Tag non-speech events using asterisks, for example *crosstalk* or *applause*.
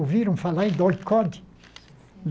Ouviram falar em? *unintelligible*